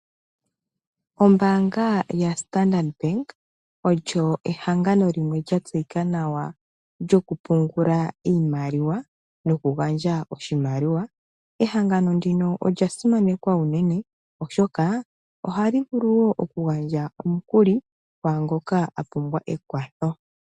Ombanga yaStandard Bank olyo ehangano limwe lya tseyika nawa lyoku pungula iimaliwa nokugandja oshimaliwa. Ehangano ndino olyasimanekwa unene, oshoka ohali vulu oku gandja omukuli kwaangoka ahala ekwatho.